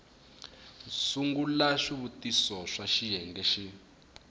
sungula swivutiso swa xiyenge xin